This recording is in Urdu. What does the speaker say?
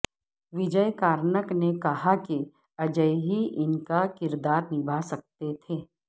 وجے کارنک نے کہاکہ اجے ہی ان کا کردارنبھا سکتے تھے